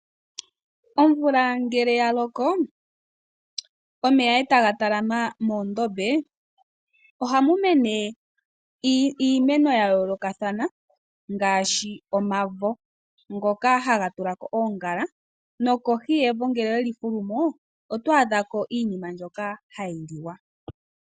Omvula ngele ya loko, omeya e taga talama moondombe ohamu mene iimeno ya yoolokathana ngaashi omavo ngoka haga tulako oongala nokohi yevo ngele owe li fulu mo oto adha ko iinima mbyoka hayi liwa.